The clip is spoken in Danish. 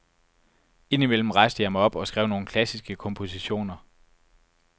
Ind imellem rejste jeg mig op og skrev nogle klassiske kompositioner.